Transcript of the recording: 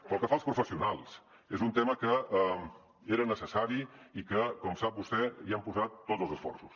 pel que fa als professionals és un tema que era necessari i que com sap vostè hi hem posat tots els esforços